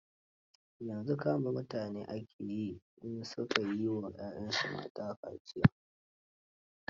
Yanzu kama mutane ake yi in su ka yi wa 'y'yansu mata kaciya.